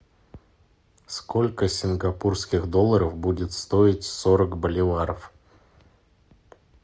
сколько сингапурских долларов будет стоить сорок боливаров